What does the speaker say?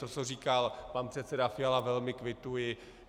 To, co říkal pan předseda Fiala, velmi kvituji.